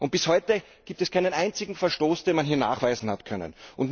Bis heute gibt es keinen einzigen Verstoß, den man hier hat nachweisen können.